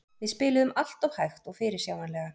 Við spiluðum alltof hægt og fyrirsjáanlega.